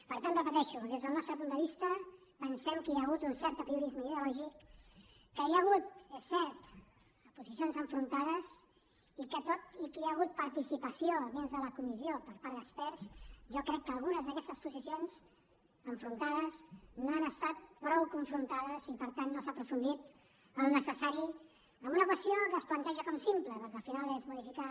per tant ho repeteixo des del nostre punt de vista pensem que hi ha hagut un cert apriorisme ideològic que hi ha hagut és cert posicions enfrontades i que tot i que hi ha hagut participació dins de la comissió per part d’experts jo crec que algunes d’aquestes posicions enfrontades no han estat prou confrontades i per tant no s’ha aprofundit el que era necessari en una qüestió que es planteja com simple perquè al final és modificar